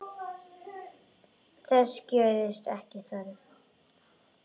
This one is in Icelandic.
Þess gerist ekki þörf.